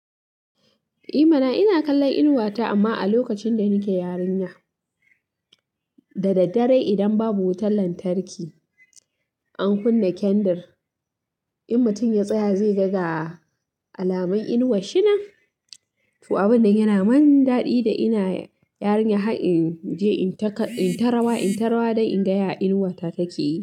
I mana! Ina kallon inuwa ta amma a lokacin da nike yarinya. Da daddare idan babu wutar lantarki, an kunna kendir, in mutum ya tsaya zai ga ga alamun inuwar shi nan. To, abin da yana mun daɗi da ina yarinya har in je in ta rawa, in ta rawa dan in ga ya inuwa ta take yi.